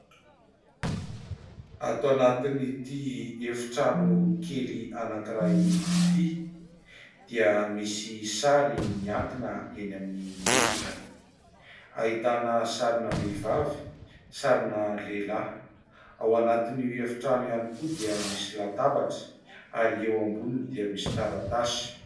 Ato anatin'ity efitrano kely anankiray ity dia misy sary miankina eny amin'ny rindrina : ahitana sarina vehivavy, sarina lehilahy. Ao anatin'io efitrano io koa dia misy latabatra ary eo amboniny dia misy taratasy.